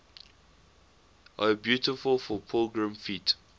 o beautiful for pilgrim feet